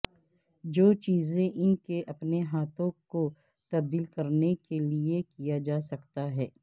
جو چیزیں ان کے اپنے ہاتھوں کو تبدیل کرنے کے لئے کیا جا سکتا ہے